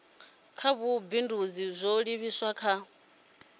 ha vhubindudzi zwo livhiswa kha